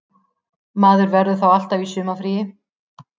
Maður verður þá alltaf í sumarfríi